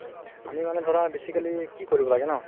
আমি মানে ধৰা basically কি কৰিব লাগে ন